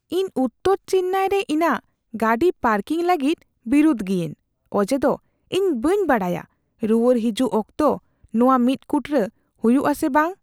ᱤᱧ ᱩᱛᱛᱚᱨ ᱪᱮᱱᱱᱟᱭ ᱨᱮ ᱤᱧᱟᱹᱜ ᱜᱟᱹᱰᱤ ᱯᱟᱨᱠᱤᱝ ᱞᱟᱹᱜᱤᱫ ᱵᱤᱨᱩᱫ ᱜᱤᱭᱟᱹᱧ ᱚᱡᱮᱫᱚ ᱤᱧ ᱵᱟᱹᱧ ᱵᱟᱰᱟᱭᱟ ᱨᱩᱣᱟᱹᱲ ᱦᱤᱡᱩᱜ ᱚᱠᱛᱚ ᱱᱚᱶᱟ ᱢᱤᱫ ᱠᱩᱴᱨᱟᱹ ᱦᱩᱭᱩᱜ ᱟᱥᱮ ᱵᱟᱝ ᱾